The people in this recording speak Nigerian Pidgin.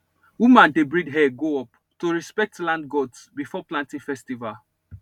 women dey braid hair go up to respect land gods before planting festival